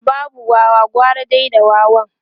da babu Wawa gara dai da wawa